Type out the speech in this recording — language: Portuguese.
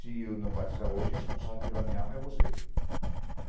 Se eu não batizar hoje, o responsável pela minha alma é você.